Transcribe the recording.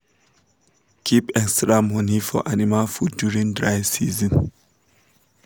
keep extra money for animal food during dry season